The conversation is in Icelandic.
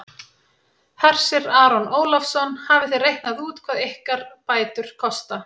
Hersir Aron Ólafsson: Hafið þið reiknað út hvað ykkar bætur kosta?